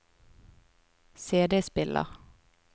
CD-spiller